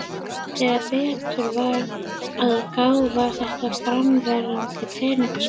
Þegar betur var að gáð var þetta fyrrverandi peningaskápur.